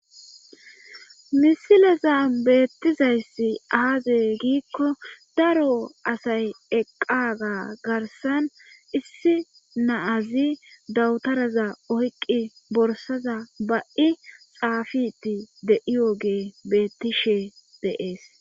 Misileza beettizayssi aade giikko daro asay eqqaga garsan issi naazi dawutaraza oyqqi borsaza ba7i xaafiti de7iyoge beettishe deees